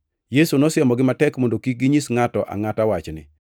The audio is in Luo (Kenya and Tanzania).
Yesu nosiemogi matek mondo kik ginyis, ngʼato angʼata wachni.